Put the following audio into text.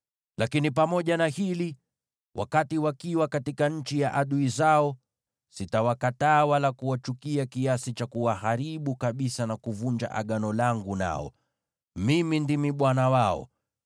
Lakini pamoja na hili, wakati watakuwa katika nchi ya adui zao, sitawakataa wala kuwachukia kiasi cha kuwaharibu kabisa na kuvunja agano langu nao. Mimi ndimi Bwana Mungu wao.